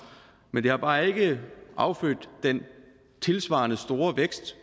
men det har bare ikke affødt den tilsvarende store vækst